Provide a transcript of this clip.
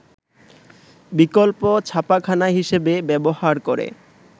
বিকল্প ছাপাখানা হিসেবে ব্যবহার করে